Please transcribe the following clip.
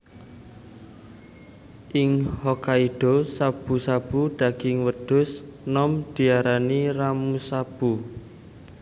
Ing Hokkaido shabu shabu daging wedhus nom diarani Ramushabu